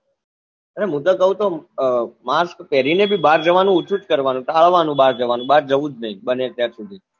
અરે મુ તો કવ તો mask પેરી ને ભી બાર જવાનું ઓછું કરવાનું ટાળવા નું બાર જવાનું બાર જવું જ નહી બને ત્યાં સુધી